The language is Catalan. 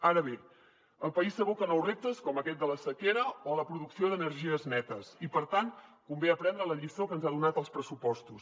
ara bé el país s’aboca a nous reptes com aquest de la sequera o la producció d’energies netes i per tant convé aprendre la lliçó que ens han donat els pressupostos